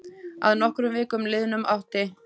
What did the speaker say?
Að nokkrum vikum liðnum átti